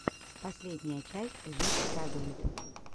последняя часть жизнь радует